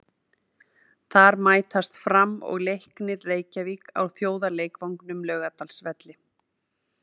Þar mætast Fram og Leiknir Reykjavík á þjóðarleikvangnum, Laugardalsvelli.